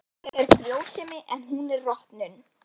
Ég er frjósemi en hún er rotnun.